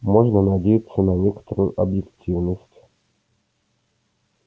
можно надеяться на некоторую объективность